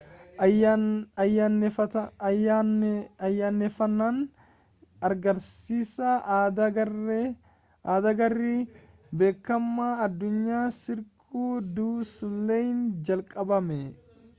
ayyaaneffannaan agarsiisa addaa garee beekamaa adunyaa cirque du soleil'n jalqabame